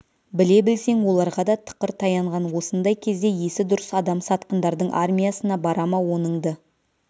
біле білсең оларға да тықыр таянған осындай кезде есі дұрыс адам сатқындардың армиясына бара ма оныңды